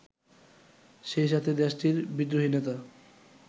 সেইসাথে দেশটির বিদ্রোহী নেতা